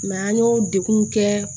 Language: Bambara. an y'o degun kɛ